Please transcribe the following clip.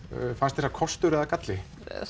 fannst þér það kostur eða galli